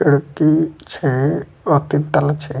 खिड़की छै तीन तल्ला छै।